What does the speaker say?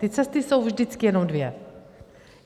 Ty cesty jsou vždycky jenom dvě.